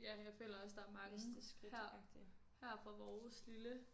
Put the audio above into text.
Ja men jeg føler også der er mange her her fra vores lille